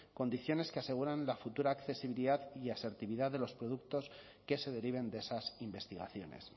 condiciones que aseguren la futura accesibilidad y asertividad de los productos que se deriven de esas investigaciones